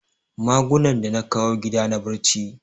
Magunan da na kawo gida na barci